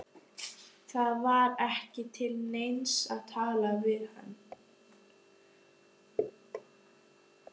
Það var ekki til neins að tala við hann.